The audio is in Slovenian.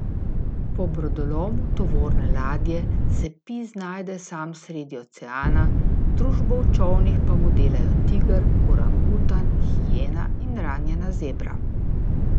Po brodolomu tovorne ladje se Pi znajde sam sredi oceana, družbo v čolnih pa mu delajo tiger, orangutan, hijena in ranjena zebra.